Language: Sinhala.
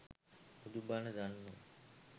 බුදු බණ දන්නෝ